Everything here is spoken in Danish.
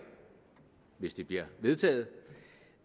hvis det bliver vedtaget